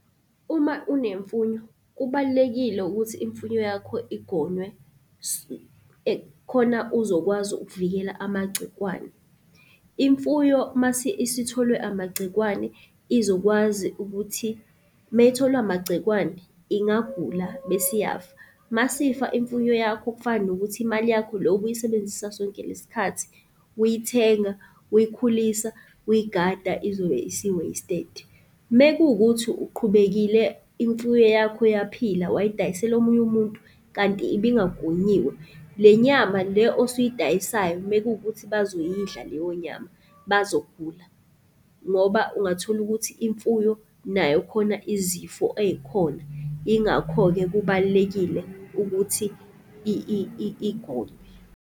Uma unemfuyo, kubalulekile ukuthi imfuyo yakho igonywe, khona uzokwazi ukuvikela amagcikwane. Imfuyo masi isitholwe amagcikwane izokwazi ukuthi, meyitholwe amagcikwane ingagula bese iyafa. Masifa imfuyo yakho kufana nokuthi imali yakho le obuyisebenzisa sonke le sikhathi uyithenga, uyikhulisa, uyigada izobe isi-wasted. Mekuwukuthi uqhubekile imfuyo yakho yaphila wayidayisela omunye umuntu kanti ibingagonyiwe, le nyama le osuyidayisayo mekuwukuthi bazoyidla leyo nyama bazogula. Ngoba ungatholukuthi imfuyo nayo khona izifo ey'khona. Ingakho-ke kubalulekile ukuthi igonywe.